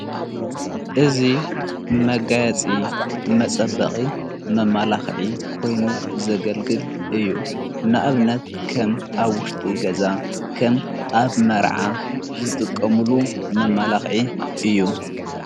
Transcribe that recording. እዙ መጋያፂ መጸበቒ መማላኽዒ ኮይኑ ዘገልግል እዩ ንእብነት ከም ኣብ ውሽቲ ገዛ ከም ኣብ መርዓ ዘጥቀሙሉ መማላኽዒ እዩ።